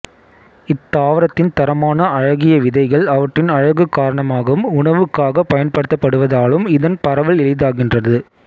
இத்தாவரத்தின் தரமான அழகிய விதைகள் அவற்றின் அழகு காரணமாகவும் உணவுக்காகப் பயன்படுத்தப்படுவதாலும் இதன் பரவல் எளிதாகின்றது